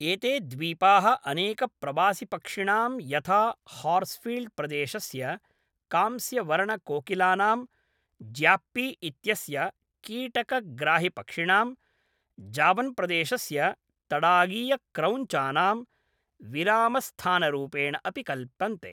एते द्वीपाः अनेकप्रवासिपक्षिणां यथा हार्स्फील्ड्प्रदेशस्य कांस्यवर्णकोकिलानां, ज्याप्पी इत्यस्य कीटकग्राहिपक्षिणां, जावन्प्रदेशस्य तडागीयक्रौञ्चानां, विरामस्थानरूपेण अपि कल्पन्ते।